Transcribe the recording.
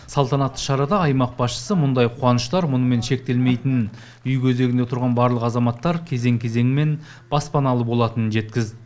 салтанатты шарада аймақ басшысы мұндай қуаныштар мұнымен шектелмейтінін үй кезегінде тұрған барлық азаматтар кезең кезеңімен баспаналы болатынын жеткізді